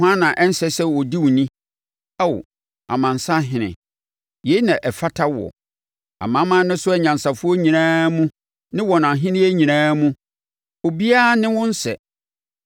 Hwan na ɛnsɛ sɛ ɔdi wo ni, Ao, amansanhene? Yei na ɛfata woɔ. Amanaman no so anyansafoɔ nyinaa mu ne wɔn ahennie nyinaa mu, obiara ne wo nsɛ.